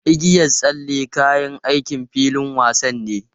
Igiyan tsalle kayan aikin filin wasa ne.